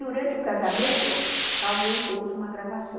Durante o casamento, alguém fez uma gravação.